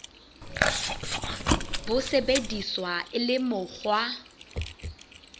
bo sebediswa e le mokgwa